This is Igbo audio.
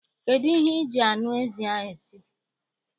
Kedụ ihe I ji anụ ezi a esi?